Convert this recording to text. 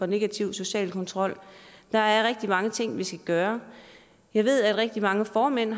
negativ social kontrol der er rigtig mange ting vi skal gøre jeg ved at rigtig mange formænd